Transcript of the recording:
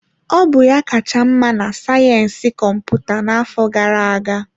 Ọ bụ ya kacha mma na sayensị kọmputa n'afọ gara aga.